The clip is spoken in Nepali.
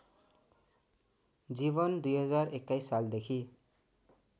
जीवन २०२१ सालदेखि